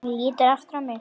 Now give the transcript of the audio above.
Hann lítur aftur á mig.